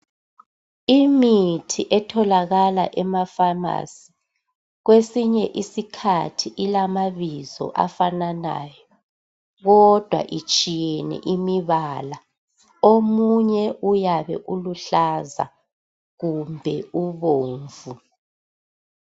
Imithi etholakala emafamasi kwesinye isikhathi ilamabizo afananayo kodwa itshiyene imibala. Omunye uyabe uluhlaza kumbe ubomvu.